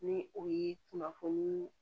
Ni o ye kunnafoni